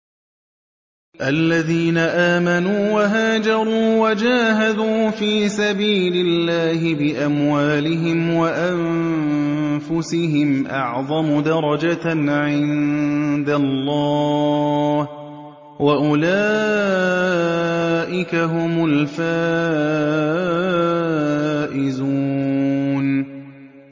الَّذِينَ آمَنُوا وَهَاجَرُوا وَجَاهَدُوا فِي سَبِيلِ اللَّهِ بِأَمْوَالِهِمْ وَأَنفُسِهِمْ أَعْظَمُ دَرَجَةً عِندَ اللَّهِ ۚ وَأُولَٰئِكَ هُمُ الْفَائِزُونَ